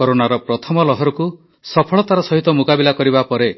କରୋନାର ପ୍ରଥମ ଲହରକୁ ସଫଳତାର ସହିତ ମୁକାବିଲା କରିବା ପରେ